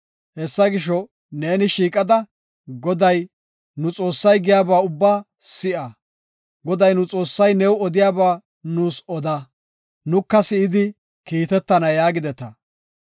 Hessa gisho, neeni shiiqada Goday, nu Xoossay giyaba ubbaa si7a; Goday, nu Xoossay new odiyaba nuus oda; nuka si7idi kiitetana” yaagideta.